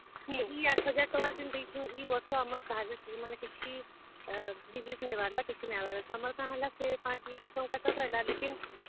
ଇ ଆଠ ହଜାର ଟଙ୍କା ଦଉଛୁଁ, ଇ ବର୍ଷ ଆମର୍ କାହାରିର୍ କିଛି, ମନେକର disease ନାଇ ବାହାର୍ ଲା କିଛି ନାଇ ବାହାର୍ ଲା, ତ ଆମର କାଣା ହେଲା ସେ ପାଞ୍ଚ ଲକ୍ଷ ଟଙ୍କା ତ ପାଏଲା लेकिन ।